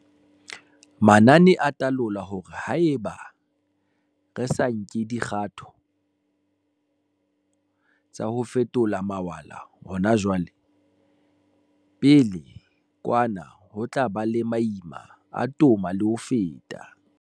Manane a talola hore haeba re sa nke dikgato tsa ho fetola mawala hona jwale, pele kwa na ho tla ba le maima a toma le ho feta.